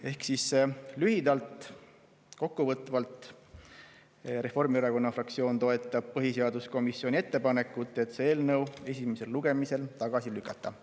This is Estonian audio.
Ehk lühidalt, kokkuvõtvalt: Reformierakonna fraktsioon toetab põhiseaduskomisjoni ettepanekut see eelnõu esimesel lugemisel tagasi lükata.